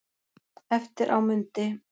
Eftir á mundi